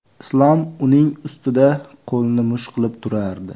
Islom uning ustida qo‘lini musht qilib turardi.